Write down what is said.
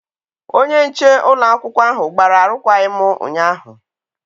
Onye nche ụlọakwụkwọ ahụ gbara arụkwaghịm ụnyaahụ.